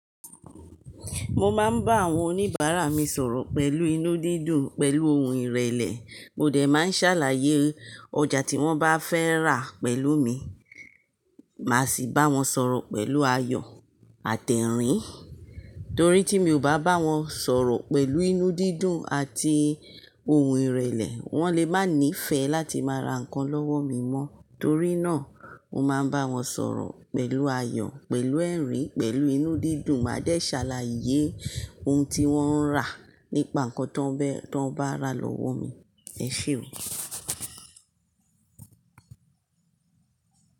Mo máa ń bá àwọn oníbàárà mi sọ̀rọ̀ pẹ̀lú inú dídùn, pẹ̀lú ohun ìrẹ̀lẹ̀, mo dẹ̀ máa ń ṣàlàyé ọjà tí wọ́n bá fẹ́ rà pẹ̀lú mi. Màá sì bá wọn sọ̀rọ̀ pẹ̀lú ayọ̀ àti ẹ̀rín. Torí tí mi ò bá bá wọn sọ̀rọ̀ pẹ̀lú inú dídùn àti ohun ìrẹ̀lẹ̀, wọ́n lè má níí fẹ́ láti má ra nǹkan lọ́wọ́ mi mọ́. Torí náà mo máa ń bá wọn sọ̀rọ̀ pẹ̀lú ayọ̀, pẹ̀lú ẹ̀rín, pẹ̀lú inú dídùn, màá dé ṣàlàyé ohun tí wọ́n ń rà nípa nǹkan tí wọ́n bá rà lọ́wọ́ mi. Ẹ ṣé o.